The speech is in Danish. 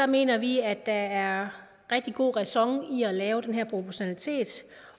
mener vi at der er rigtig god ræson i at lave den her proportionalitet